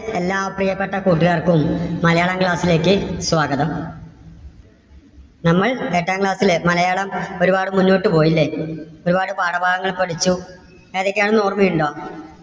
എല്ലാ പ്രിയപ്പെട്ട കൂട്ടുകാർക്കും മലയാളം class ലേക്ക് സ്വാഗതം. നമ്മൾ എട്ടാം class ലെ മലയാളം ഒരുപാട് മുന്നോട്ട് പോയല്ലേ? ഒരുപാട് പാഠഭാഗങ്ങൾ പഠിച്ചു. ഏതൊക്കെയാണെന്ന് ഓർമ്മയുണ്ടോ?